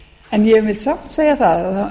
en ég vil samt segja það